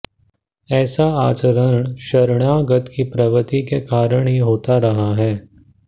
ऐसा आचरण शरणागत की प्रवृत्ति के कारण ही होता रहा है